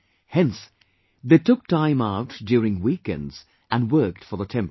Hence, they took out time during weekends and worked for the temple